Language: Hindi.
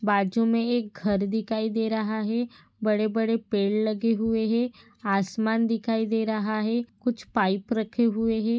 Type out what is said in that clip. बाजू में एक घर दिखाई दे रहा है बड़े बड़े पेड़ लगे हुए है आसमान दिखाई दे रहा है कुछ पाइप रखे हुए है।